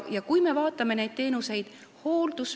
Vaatame teenuseid.